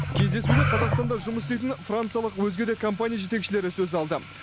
кездесуде қазақстанда жұмыс істейтін франциялық өзге де компания жетекшілері сөз алды